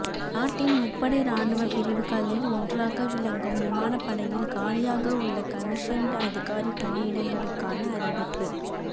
நாட்டின் முப்படை ராணுவ பிரிவுகளில் ஒன்றாக விளங்கும் விமானப்படையில் காலியாக உள்ள கமிஷன்டு அதிகாரி பணியிடங்களுக்கான அறிவிப்பு